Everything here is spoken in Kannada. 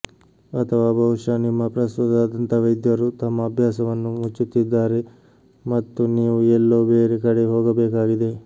ಅಥವಾ ಬಹುಶಃ ನಿಮ್ಮ ಪ್ರಸ್ತುತ ದಂತವೈದ್ಯರು ತಮ್ಮ ಅಭ್ಯಾಸವನ್ನು ಮುಚ್ಚುತ್ತಿದ್ದಾರೆ ಮತ್ತು ನೀವು ಎಲ್ಲೋ ಬೇರೆ ಕಡೆ ಹೋಗಬೇಕಾಗಿದೆ